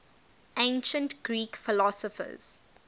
ancient greek philosophers